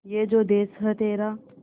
ये जो देस है तेरा